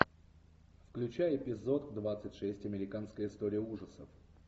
включай эпизод двадцать шесть американская история ужасов